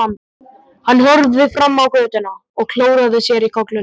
Hann horfði fram á götuna og klóraði sér í kollinum.